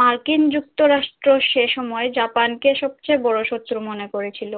মার্কিন যুক্তরাষ্ট্র সে সময় জাপান কে সবচেয়ে বড় শত্রু মনে করেছিল